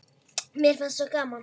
Mér fannst svo gaman.